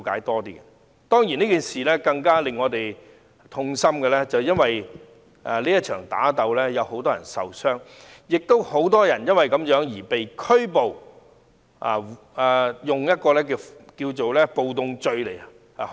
當然，更令我們感到痛心的是，這場打鬥中很多人受傷，亦有很多人因而被捕及被控暴動罪。